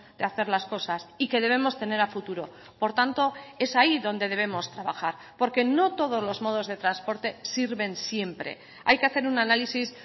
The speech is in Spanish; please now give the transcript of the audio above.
de hacer las cosas y que debemos tener a futuro por tanto es ahí donde debemos trabajar porque no todos los modos de transporte sirven siempre hay que hacer un análisis